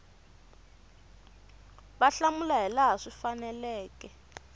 va hlamula hilaha swi faneleke